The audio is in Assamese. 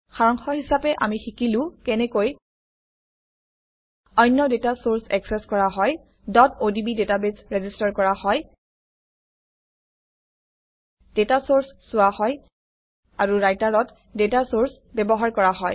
সাৰাংশ হিচাপে আমি শিকিলো কেনেকৈ অন্য ডাটা চৰ্চ একচেচ কৰা হয় odb ডাটাবেছ ৰেজিষ্টাৰ কৰা হয় ডাটা চৰ্চ চোৱা হয় আৰু ৰাইটাৰত ডাটা চৰ্চ ব্যৱহাৰ কৰা হয়